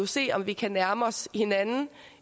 se om vi kan nærme os hinanden